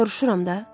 Soruşuram da.